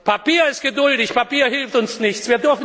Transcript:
Papier ist geduldig, Papier hilft uns nichts.